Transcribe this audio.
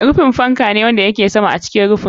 Rufi fan fan ne wanda yake sama a cikin rufin.